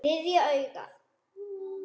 Þriðja augað.